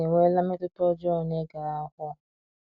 AIDS enweela mmetụta ọjọọ n’ịga akwụkwọ.